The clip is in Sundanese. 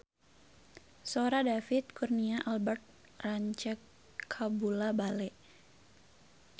Sora David Kurnia Albert rancage kabula-bale